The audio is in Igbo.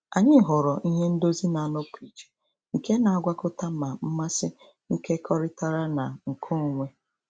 Anyị họọrọ ihe ndozi na-anọpụ iche nke na-agwakọta ma mmasị nkekọrịtara na nke onwe.